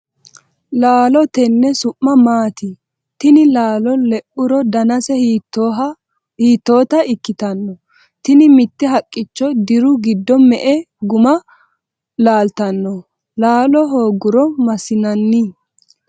laalo tenne su'mi maati? tini laalo leuro danase hiittoota ikkitanno? tini mitte haqqicho diru giddo me''e guma laaltanno? laala hoogguro massinanni?